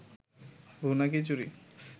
ভুনা খিচুরি